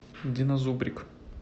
динозубрик